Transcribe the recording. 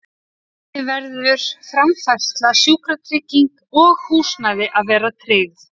Einnig verður framfærsla, sjúkratrygging og húsnæði að vera tryggð.